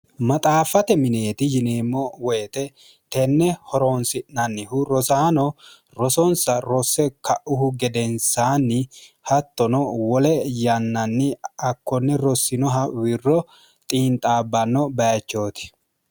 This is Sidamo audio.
maxaaffate mineeti yineemmo woyite tenne horoonsi'nannihu rosaano rosonsa rosse ka'uhu gedensaanni hattono wole yannanni akkonne rossinoha wirro xiinxaabbanno bayichooti